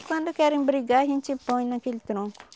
Quando querem brigar a gente põe naquele tronco.